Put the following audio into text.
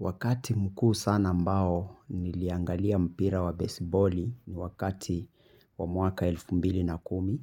Wakati mkuu sana ambao niliangalia mpira wa besiboli ni wakati wa mwaka elfu mbili na kumi.